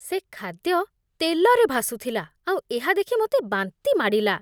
ସେ ଖାଦ୍ୟ ତେଲରେ ଭାସୁଥିଲା ଆଉ ଏହା ଦେଖି ମୋତେ ବାନ୍ତି ମାଡ଼ିଲା।